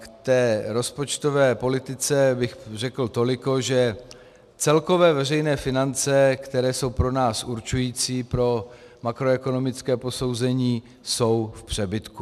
K té rozpočtové politice bych řekl toliko, že celkové veřejné finance, které jsou pro nás určující pro makroekonomické posouzení, jsou v přebytku.